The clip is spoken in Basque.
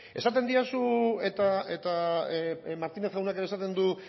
esaten didazu eta martínez jaunak ere esaten du